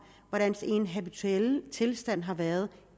hvordan den habituelle tilstand har været